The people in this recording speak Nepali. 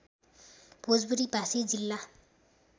भोजपुरी भाषी जिल्ला